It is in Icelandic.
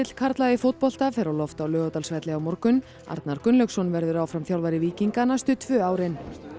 karla í fótbolta fer á loft á Laugardalsvelli á morgun Arnar Gunnlaugsson verður áfram þjálfari víkinga næstu tvö árin